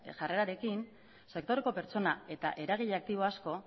jarrerarekin sektoreko pertsona eta eragile aktibo asko